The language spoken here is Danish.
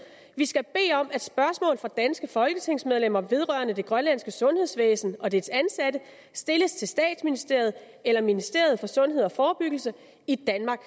vi skal bede om at spørgsmål fra danske folketingsmedlemmer vedrørende det grønlandske sundhedsvæsen og dets ansatte stilles til statsministeriet eller ministeriet for sundhed og forebyggelse i danmark